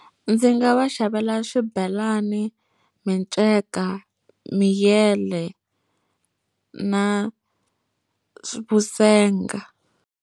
Ndzi nga va xavela swibelani, minceka miyele na vusenga.